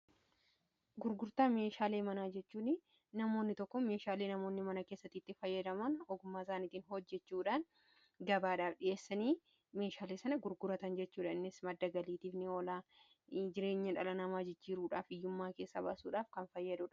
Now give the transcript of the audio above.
Gurgurtaa meeshaalee manaa jechuun namoonni tokko tokko meeshaalee namoonni mana keessatiitti fayyadaman ogumaa isaaniitiin hojjechuudhan gabaadhaaf dhi'eessanii meeshaalee sana gurguratan jechuudha innis maddagaliitifni oolaa jireenya dhala namaa jijjiiruudhaaf iyyummaa keessa baasuudhaaf kan fayyadu.